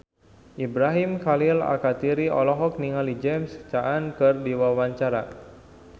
Ibrahim Khalil Alkatiri olohok ningali James Caan keur diwawancara